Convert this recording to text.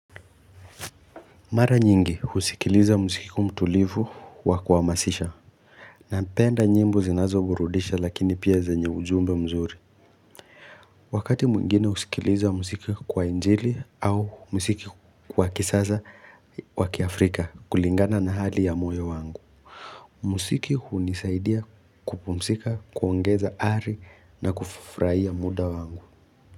Mara nyingi husikiliza muziki mtulivu wa kuhamasisha. Napenda nyimbo zinazoburudisha lakini pia zanye ujumbe mzuri. Wakati mwingine husikiliza muziki wa injili au muziki wa kisasa wa kiafrika kulingana na hali ya moyo wangu. Muziki hunisaidia kupumzika, kuongeza ari na kufurahia muda wangu.